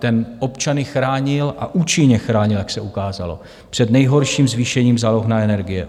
Ten občany chránil, a účinně chránil, jak se ukázalo, před nejhorším zvýšením záloh na energie.